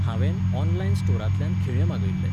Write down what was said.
हांवेन ऑनलायन स्टोरांतल्यान खिळे मागयल्ले